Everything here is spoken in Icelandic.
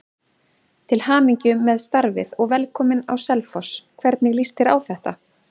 Til hamingju með starfið og velkominn á Selfoss, hvernig lýst þér á þetta?